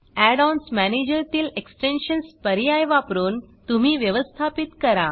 Add ons manager तील extensions पर्याय वापरुन तुम्ही व्यवस्थापित करा